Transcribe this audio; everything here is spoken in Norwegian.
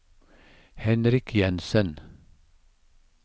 Henrik Jensen